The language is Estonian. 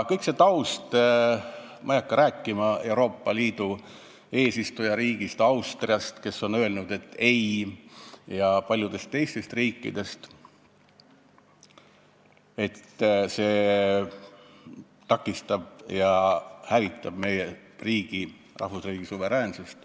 Ma ei hakka rääkima taustast, Euroopa Liidu eesistujariigist Austriast, kes on öelnud "ei", ja paljudest teistest riikidest või sellest, et see lepe takistab ja hävitab meie rahvusriigi suveräänsust.